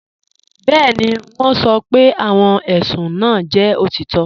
Bẹẹni, wọn sọ́ pé awọn ẹṣùn náà jẹ́ otitọ